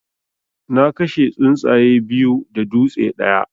Na kashe tsuntsaye biyu da dutse ɗaya.